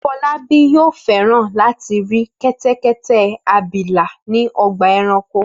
Fọlábí yóò fẹ́ràn láti rí kẹ́tẹ́kẹ́tẹ́ abilà ní ọgbà-ẹranko.